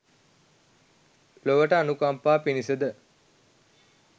ලොවට අනුකම්පා පිණිස ද